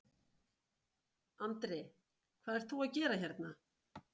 Andri: Hvað ert þú að gera hérna?